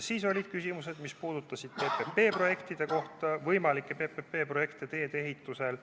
Siis olid veel küsimused, mis puudutasid võimalikke PPP-projekte teedeehituses.